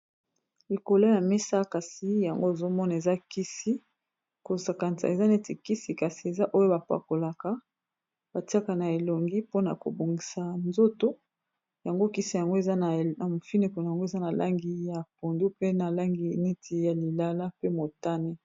likolo ya mesa kasi yango ezomona eza kisi kosakanisa eza neti kisi kasi eza oyo bapakolaka batiaka na elongi mpona kobongisa nzoto yango kisi yango na mofinekuna yango eza na langi ya pondu pe na langiniti ya lilala pe motane